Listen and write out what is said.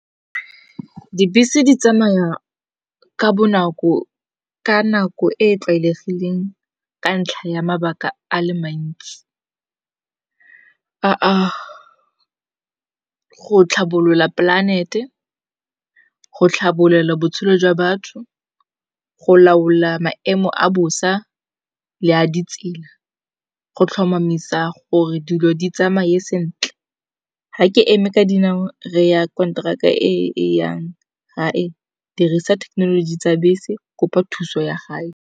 Dibese di tsamaya ka bonako ka nako e tlwaelegileng ka ntlha ya mabaka a le mantsi. A go tlhabolola polante, go tlhabolola botshelo jwa batho, go laola maemo a bosa, le a di tsela, go tlhomamisa gore dilo di tsamaye sentle. Ga ke eme ka dinao re ya konteraka e e yang ga e dirisa thekenoloji tsa bese kopa thuso ya gae.